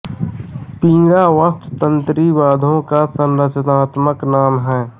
वीणा वस्तुत तंत्री वाद्यों का सँरचनात्मक नाम है